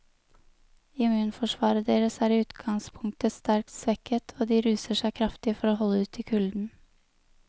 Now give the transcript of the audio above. Immunforsvaret deres er i utgangspunktet sterkt svekket, og de ruser seg kraftig for å holde ut i kulden.